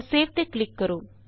ਹੁਣ ਸੇਵ ਤੇ ਕਲਿਕ ਕਰੋ